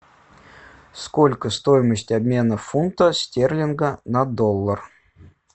сколько стоимость обмена фунта стерлинга на доллар